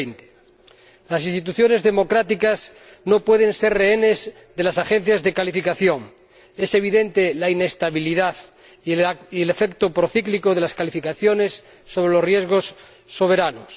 2020. Las instituciones democráticas no pueden ser rehenes de las agencias de calificación. Es evidente la inestabilidad y el efecto procíclico de las calificaciones sobre los riesgos soberanos.